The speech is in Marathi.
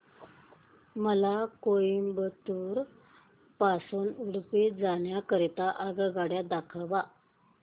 मला कोइंबतूर पासून उडुपी जाण्या करीता आगगाड्या दाखवा